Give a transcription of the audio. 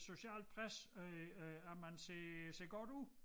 Socialt pres øh øh at man ser ser godt ud